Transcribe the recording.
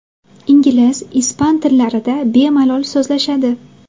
Ingliz, ispan tillarida bemalol so‘zlashadi.